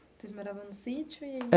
Vocês moravam no sítio?